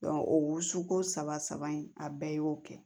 o wusuko saba in a bɛɛ y'o kɛ